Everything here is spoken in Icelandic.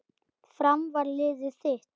Fram var liðið þitt.